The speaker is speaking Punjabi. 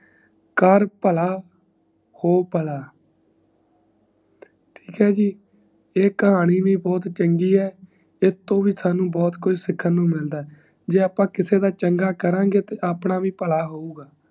ਕਰ ਪਲ ਹੋ ਪਲ ਠੀਕ ਈ ਜੀ ਈ ਕਹਾਣੀ ਬ ਬਹੁਤ ਚੰਗੀ ਹੈ ਐੱਸ ਤੋਂ ਵੀ ਅੱਪਾ ਨੂੰ ਬਹੁਤ ਕੁਛ ਸਿਖਾਂ ਮਿਲਦਾ ਈ ਜੇ ਅੱਪਾ ਕਿਸੇ ਦਾ ਚੰਗਾ ਕਰਾਂਗੇ ਤੇ ਆਪਣਾ ਬ ਪਲ ਹੋਊਂਗਾ